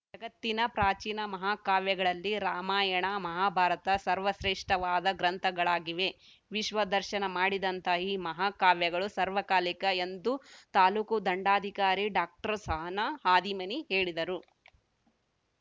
ಜಗತ್ತಿನ ಪ್ರಾಚೀನ ಮಹಾಕಾವ್ಯಗಳಲ್ಲಿ ರಾಮಾಯಣ ಮಹಾಭಾರತ ಸರ್ವಶ್ರೇಷ್ಠವಾದ ಗ್ರಂಥಗಳಾಗಿವೆ ವಿಶ್ವ ದರ್ಶನ ಮಾಡಿದಂತಹ ಈ ಮಹಾಕಾವ್ಯಗಳು ಸಾರ್ವಕಾಲಿಕ ಎಂದು ತಾಲೂಕು ದಂಡಾಧಿಕಾರಿ ಡಾಕ್ಟರ್ಸಹನಾ ಹಾದಿಮನಿ ಹೇಳಿದರು